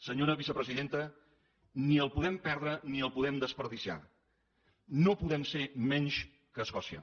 senyora vicepresidenta ni el podem perdre ni el podem desaprofitar no podem ser menys que escòcia